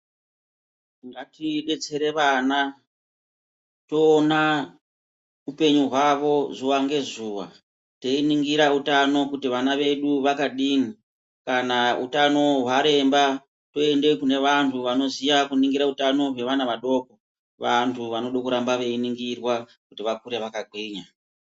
Ngatidetsere vana toona upenyu hwavo zuwa ngezuwa teiningira utano kuti vana vedu vakadini kana utano hwaremba tiende kunevantu vanoziye kuningira utano hwevana vadoko ,vantu vanode kuramba veiningirwa kuti vakure vakagwinya.